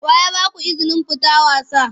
Wa ya ba ku izinin fita wasa?